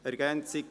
«Ergänzung